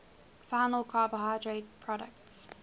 final carbohydrate products